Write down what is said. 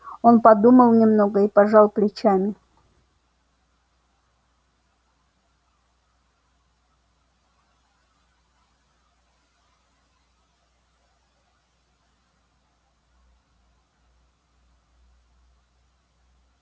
он подумал немного и пожал плечами